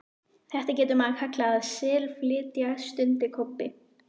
Þetta getur maður kallað að SELflytja, stundi Kobbi.